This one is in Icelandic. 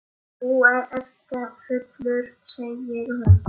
Þú ert fullur, segir hún.